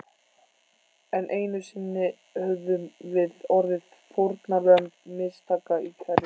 Enn einu sinni höfðum við orðið fórnarlömb mistaka í kerfinu.